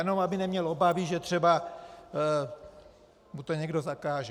Jenom aby neměl obavy, že třeba mu to někdo zakáže.